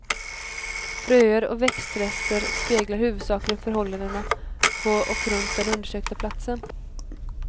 Fröer och växtrester speglar huvudsakligen förhållandena på och runt den undersökta platsen.